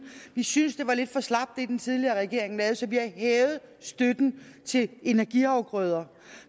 vi synes det var lidt for slapt hvad den tidligere regering lavede så vi har hævet støtten til energiafgrøder